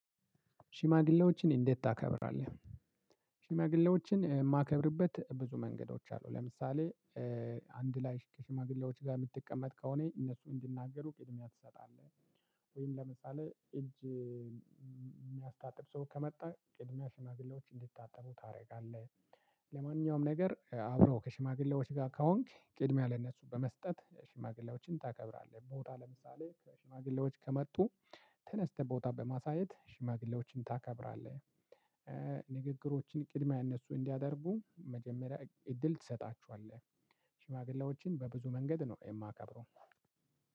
ሽማግሌዎችን እንዴት ታከብራለህ? ሽማግሌዎችን የማከብርበት ብዙ መንገዶች አሉ። ለምሳሌ አንድ ላይ ከሽማግሌዎች ጋር የምትቀመጥ ከሆነ እነሱ እንዲናገሩ ቅድሚያ ትሰጣለህ ወይም ለምሳሌ እጅ የሚያስታጥብ ሰው ከመጣ ቅድሚያ ሽማግሌዎች እንዲታጠቡ ታደርጋለህ። ለማንኛውም ነገር አብረው ከሽማግሌዎች ጋር ከሆንክ ቅድሚያ ለእነሱ በመስጠት ሽማግሌዎችን ታከብራለህ። ቦታ ለምሳሌ ከሽማግሌዎች ከመጡ ተነስተህ ቦታ በማሳየት ሽማግሌዎችን ታከብራለህ። ንግግሮችን ቅድሚያ እነሱ እንዲያደርጉ መጀመሪያ እድል ትሰጣቸዋለህ። ሽማግሌዎችን በብዙ መንገድ ነው የማከብረው።